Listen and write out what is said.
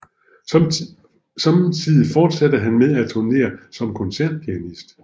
Samtidig fortsatte han med at turnere som koncertpianist